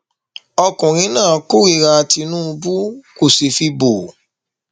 ọkùnrin náà kórìíra tìǹbù kó sì fi bọ